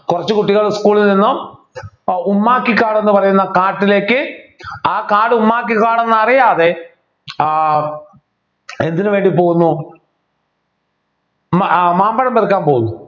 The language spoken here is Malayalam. കുറച്ചു കുട്ടികൾ school ൽ നിന്നും ഉമ്മാക്കി കാവ് എന്ന് പറയുന്ന കാട്ടിലേക്ക് ആ കാട് ഉമ്മാക്കിക്കാട് എന്നറിയാതെ ആഹ് എന്തിനുവേണ്ടി പോകുന്നു മ ആഹ് മാമ്പഴം പെറുക്കാൻ പോകുന്നു